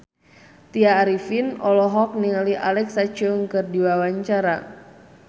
Tya Arifin olohok ningali Alexa Chung keur diwawancara